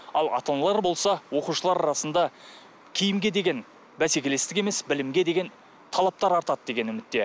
ал ата аналар болса оқушылар арасында киімге деген бәсекелестік емес білімге деген талаптар артады деген үмітте